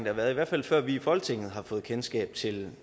har været i hvert fald før vi i folketinget har fået kendskab til